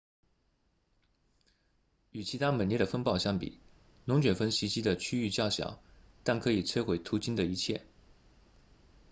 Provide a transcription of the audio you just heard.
与其他猛烈的风暴相比龙卷风袭击的区域较小但可以摧毁途经的一切